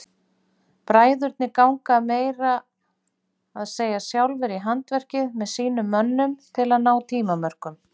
Bræðurnir ganga meira að segja sjálfir í handverkið með sínum mönnum til að ná tímamörkum.